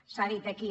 s’ha dit aquí